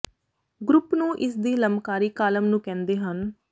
group ਨੂੰ ਇਸ ਦੀ ਲੰਬਕਾਰੀ ਕਾਲਮ ਨੂੰ ਕਹਿੰਦੇ ਹਨ